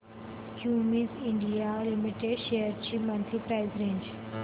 Cummins India Limited shares ची monthly price range